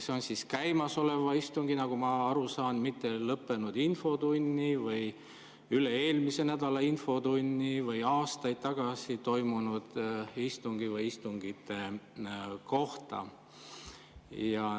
See on käimasoleva istungi kohta, nagu ma aru saan, mitte lõppenud infotunni või üle-eelmise nädala infotunni või aastaid tagasi toimunud istungi kohta.